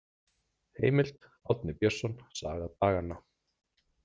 Heimild: Árni Björnsson, Saga daganna.